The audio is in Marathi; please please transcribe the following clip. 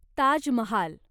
ताज महाल